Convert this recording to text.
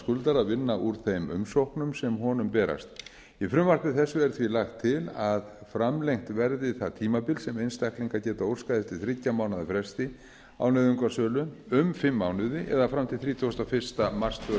skuldara að vinna úr þeim umsóknum sem honum berast í frumvarpi þessu er lagt til að framlengt verði það tímabil sem einstaklingar geta óskað eftir þriggja mánaða fresti á nauðungarsölu um fimm mánuði eða fram til tuttugasta og fyrsta mars tvö þúsund